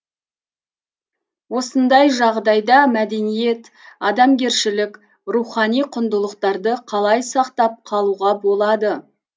осындай жағдайда мәдениет адамгершілік рухани құндылықтарды қалай сақтап қалуға болады